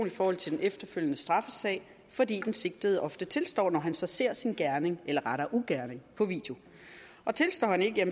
i forhold til den efterfølgende straffesag fordi den sigtede ofte tilstår når han ser sin gerning eller rettere ugerning på video og tilstår han ikke